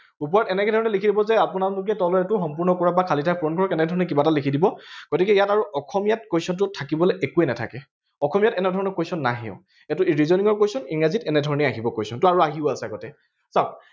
ওপৰত এনেকেধৰণে লিখি লব যে আপোনালোকে তলত এইটো সম্পূৰ্ণ কৰিব বা খালী ঠাই পূৰণ কৰক বা এনেকেধৰণে কিবা এটা লিখি দিব গতিকে ইয়াত আৰু অসমীয়াত question টো থাকিবলে একোৱেই নাথাকে অসমীয়াত এনেধৰণে question নাহেও এইটো reasoning question english এনেধৰণেই আহিব question টো আৰু আহিও আছে আগতে চাওঁক